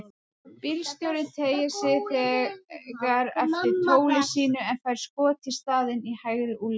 Bílstjórinn teygir sig þegar eftir tóli sínu en fær skot í staðinn, í hægri úlnlið.